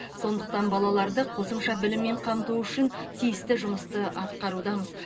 сондықтан балаларды қосымша біліммен қамту үшін тиісті жұмысты атқарудамыз